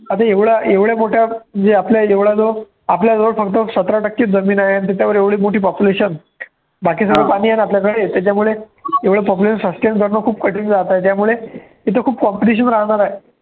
आता एवढं एवढं मोठया जे आपलं आहे एवढालं आपल्याजवळ फक्त सतरा टक्केच जमीन आहे आणि त्याच्यावर एवढी मोठी populations बाकी सगळं पाणी आहे ना आपल्याकडे त्याच्यामुळे एवढं population sustain करणं खूप कठीण जातय त्यामुळे हे तर खूप competition राहणार आहे.